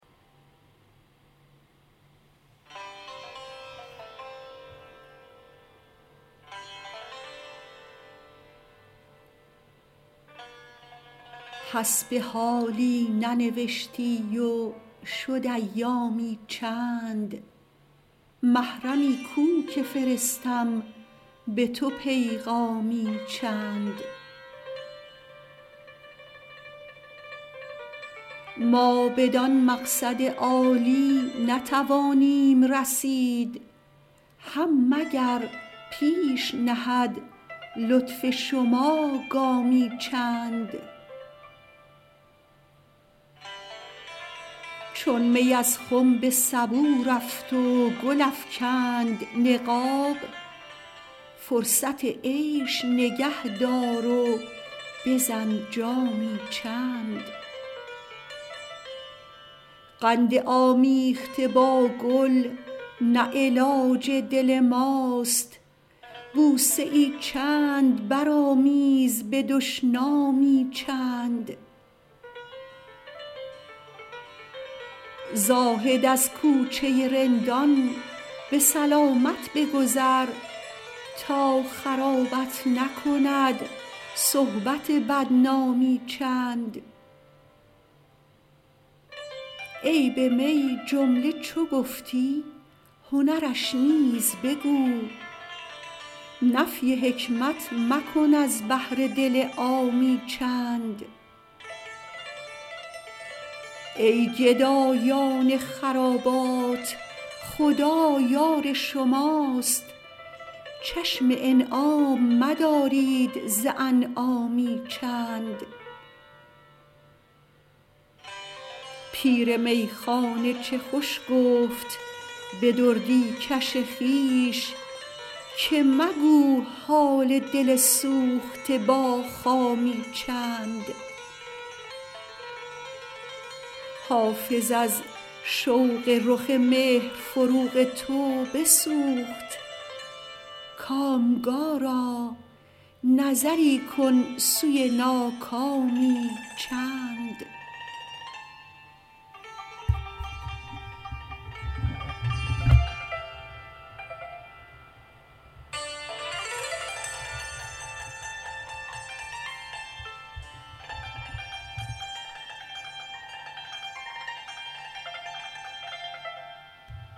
حسب حالی ننوشتی و شد ایامی چند محرمی کو که فرستم به تو پیغامی چند ما بدان مقصد عالی نتوانیم رسید هم مگر پیش نهد لطف شما گامی چند چون می از خم به سبو رفت و گل افکند نقاب فرصت عیش نگه دار و بزن جامی چند قند آمیخته با گل نه علاج دل ماست بوسه ای چند برآمیز به دشنامی چند زاهد از کوچه رندان به سلامت بگذر تا خرابت نکند صحبت بدنامی چند عیب می جمله چو گفتی هنرش نیز بگو نفی حکمت مکن از بهر دل عامی چند ای گدایان خرابات خدا یار شماست چشم انعام مدارید ز انعامی چند پیر میخانه چه خوش گفت به دردی کش خویش که مگو حال دل سوخته با خامی چند حافظ از شوق رخ مهر فروغ تو بسوخت کامگارا نظری کن سوی ناکامی چند